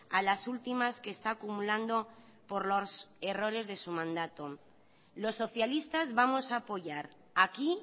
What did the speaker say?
a las últimas que está acumulando por los errores de su mandato los socialistas vamos a apoyar aquí